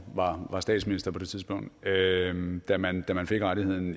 var statsminister på det tidspunkt da man fik rettighederne